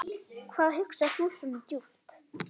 Hvað hugsar þú svona djúpt?